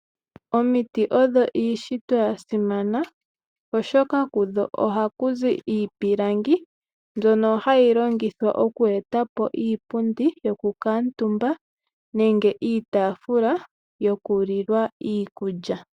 Omiti odho iishitwa ya simana, oshoka kudho ohaku zi iipilangi mbyono hayi longithwa oku eta po iipundi yokukuutumba nenge iitaafula yokulilwa iikulya.